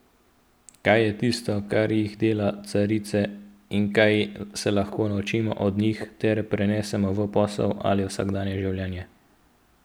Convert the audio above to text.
Kaj je tisto, kar jih dela carice, in kaj se lahko naučimo od njih ter prenesemo v posel ali vsakdanje življenje?